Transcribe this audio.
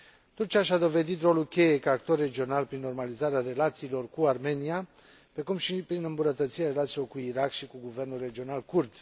Turcia și a dovedit rolul cheie ca actor regional prin normalizarea relațiilor cu Armenia, precum și prin îmbunătățirea relațiilor cu Irak și cu guvernul regional kurd.